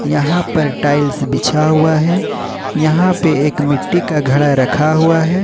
यहां पर टाइल्स बिछा हुआ है यहां पे एक मिट्टी का घड़ा रखा हुआ है।